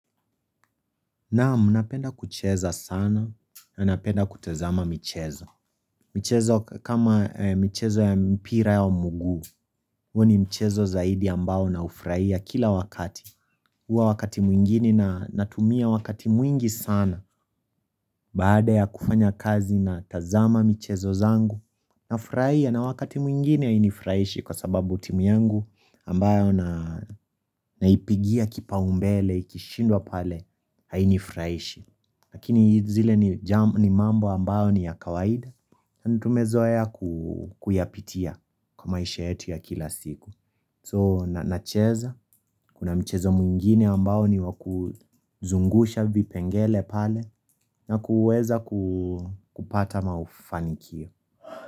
Naamu, napenda kucheza sana na napenda kutazama michezo. Michezo kama michezo ya mpira wa mguu, huo ni mchezo zaidi ambao naufraia kila wakati. Huwa wakati mwingine na natumia wakati mwingi sana baada ya kufanya kazi natazama michezo zangu. Nafraia na wakati mwingine hainifraishi kwa sababu timu yangu ambayo naipigia kipaumbele, ikishindwa pale hainifraishi. Lakini zile ni mambo ambao ni ya kawaida Tumezoea kuyapitia kwa maisha yetu ya kila siku So nacheza, kuna mchezo mwingine ambao ni wa kuzungusha vipengele pale na kuweza kupata mafanikio.